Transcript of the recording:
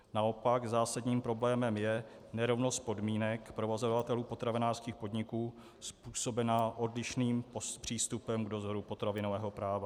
Naopak zásadním problémem je nerovnost podmínek provozovatelů potravinářských podniků způsobená odlišným přístupem k dozoru potravinového práva.